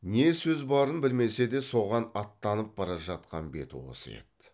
не сөз барын білмесе де соған аттанып бара жатқан беті осы еді